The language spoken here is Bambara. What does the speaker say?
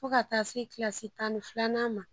Fo ka taa se kilasi tan ni filanan ma